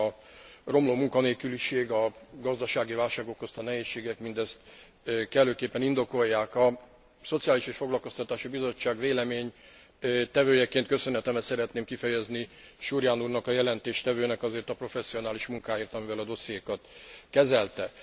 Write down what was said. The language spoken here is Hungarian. A romló munkanélküliség, a gazdasági válság okozta nehézségek mindezt kellőképpen indokolják. A Szociális és Foglalkoztatási Bizottság véleménytevőjeként köszönetemet szeretném kifejezni Surján úrnak a jelentéstevőnek azért a professzionális munkáért, amivel a dossziékat kezelte.